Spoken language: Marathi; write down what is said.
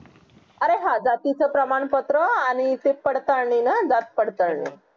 अरे हां जातीचा प्रमाणपत्र आणि ते पडताळणी ना जात पडताळणी